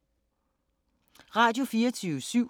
Radio24syv